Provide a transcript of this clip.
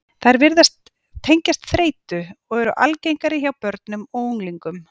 Þær virðast tengjast þreytu, og eru algengari hjá börnum og unglingum.